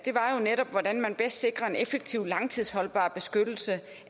netop hvordan man bedst sikrer en effektiv og langtidsholdbar beskyttelse